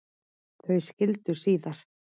Þau skildu síðar.